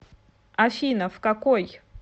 афина в какой